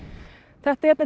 þetta hérna